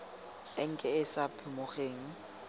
enke e e sa phimogeng